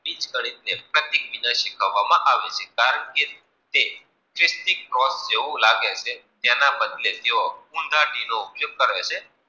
બીજ ગને તે વ્યક્તિ શિખવવામાં આવે છે. કારણ કે તે વ્યકિત ક્રોસ જેવું લાગે છે? તેના બલદે ત્યો ઉધા ઘીનો ઉપયોગ કરે છે.